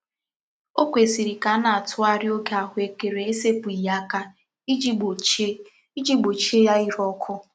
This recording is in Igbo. O kwesiri ka a na-atughari oge ahuekere esepughi aka iji gbochie iji gbochie ya ire oku.